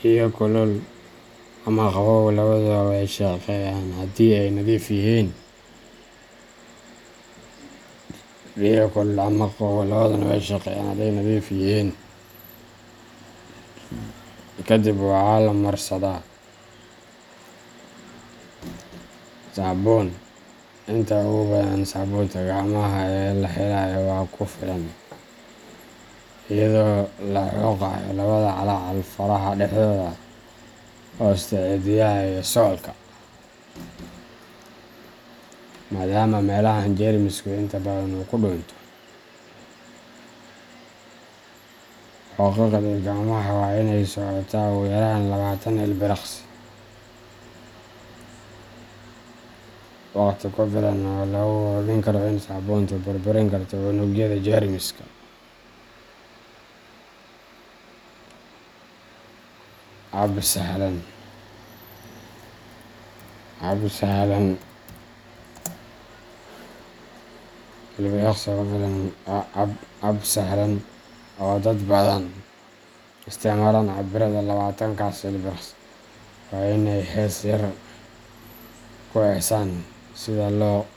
biyo kulul ama qabow labaduba waa ay shaqeeyaan haddii ay nadiif yihiin. Kadib, waxaa la marsadaa saabuun inta ugu badan saabuunta gacmaha ee la helayo waa ku filan, iyadoo la xoqayo labada calaacal, faraha dhexdooda. hoosta cidiyaha, iyo suulka, maadaama meelahaan jeermisku inta badan ku dhuunto. Xoqidda gacmaha waa inay socotaa ugu yaraan labatan ilbiriqsi waqti ku filan oo lagu hubin karo in saabuuntu burburin karto unugyada jeermiska. Hab sahlan oo dad badan u isticmaalaan cabbiraadda labatan kaas ilbiriqsi waa in ay hees yar ku heesaan sidha lo.